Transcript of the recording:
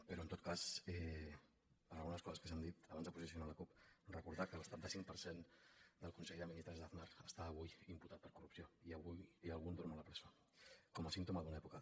però en tot cas per algunes coses que s’han dit abans de posicionar la cup recordar que el setanta cinc per cent del consell de ministres d’aznar està avui imputat per corrupció i algun dorm a la presó com a símptoma d’una època